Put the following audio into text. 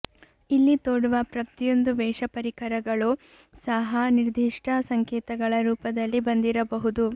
ಇಲ್ಲಿ ತೊಡುವ ಪ್ರತಿಯೊಂದು ವೇಷ ಪರಿಕರಗಳೂ ಸಹ ನಿರ್ದಿಷ್ಟ ಸಂಕೇತಗಳ ರೂಪದಲ್ಲಿ ಬಂದಿರಬಹುದು